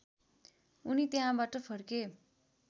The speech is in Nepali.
उनी त्यहाँबाट फर्के